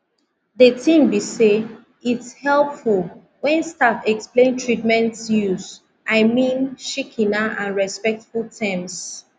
de tin be say its helpful wen staff explain treatments use i mean shikena and respectful terms